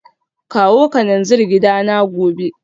Kawo kananzir gidana gobe